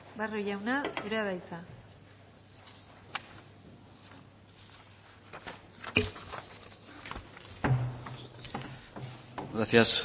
barrio jauna zurea da hitza gracias